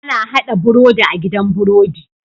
Ana hada birodi a gidan birodi